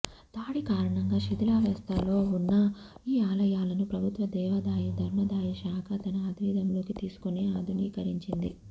దాడి కారణంగా శిథిలావస్థలో ఉన్న ఈ ఆలయాలను ప్రభుత్వ దేవాదాయ ధర్మదాయ శాఖ తన ఆధీనంలోకి తీసుకొని ఆధునీకరించింది